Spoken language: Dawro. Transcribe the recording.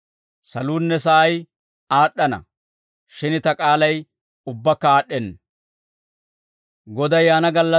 Saluunne sa'ay aad'd'ana; shin ta k'aalay ubbakka aad'd'enna.